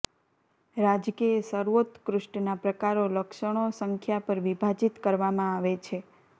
રાજકીય સર્વોત્કૃષ્ટના પ્રકારો લક્ષણો સંખ્યા પર વિભાજિત કરવામાં આવે છે